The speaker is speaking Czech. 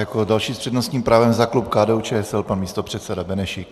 Jako další s přednostním právem za klub KDU-ČSL pan místopředseda Benešík.